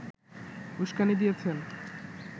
উস্কানি দিয়েছেন